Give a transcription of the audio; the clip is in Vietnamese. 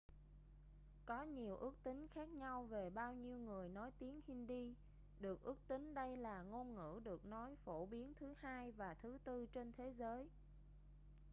có nhiều ước tính khác nhau về bao nhiêu người nói tiếng hindi được ước tính đây là ngôn ngữ được nói phổ biến thứ hai và thứ tư trên thế giới